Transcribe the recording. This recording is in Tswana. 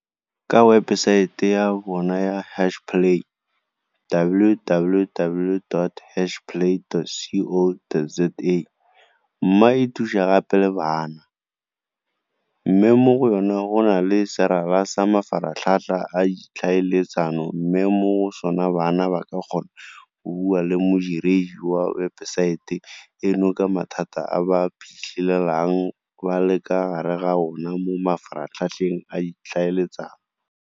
Ka webesaete ya bona ya Hashplay www dot hashplay dot co dot za. MMA e thusa gape le bana, mme mo go yona go na le serala sa mafaratlhatlha a ditlhaeletsano mme mo go sona bana ba ka kgona go bua le modiredi wa webesaete eno ka mathata a ba iphitlhelang ba le ka fa gare ga ona mo mafaratlhatlheng a ditlhaeletsano.